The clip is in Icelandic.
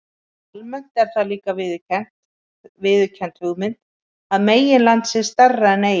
Almennt er það líka viðurkennd hugmynd að meginland sé stærra en eyja.